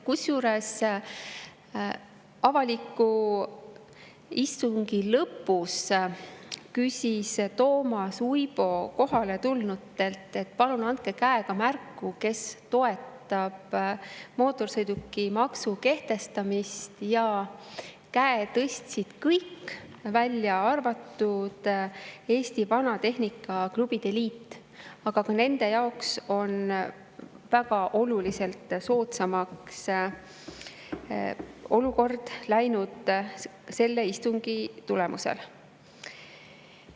Selle avaliku istungi lõpus küsis Toomas Uibo kohaletulnutelt, et palun andke käega märku, kes toetab mootorsõidukimaksu kehtestamist, ja käe tõstsid kõik, välja arvatud Eesti Vanatehnika Klubide Liit, aga ka nende jaoks on olukord väga oluliselt soodsamaks läinud selle istungi tulemusel.